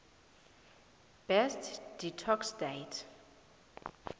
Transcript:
best detox diet